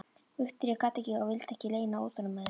Viktoría gat ekki og vildi ekki leyna óþolinmæði sinni.